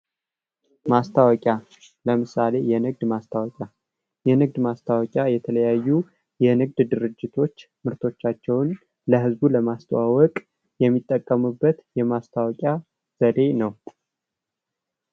ማስታወቂያ ለምሳሌ የንግድ ማስታወቂያ የንግድ ማስታወቂያ የተለያዩ የንግድ ድርጅቶች ምርቶቻቸውን ለህዝቡ ለማስተዋወቅ የሚጠቀሙበት የማስታወቂያ ዘዴ ነው።